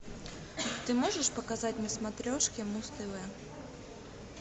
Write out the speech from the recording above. ты можешь показать на смотрешке муз тв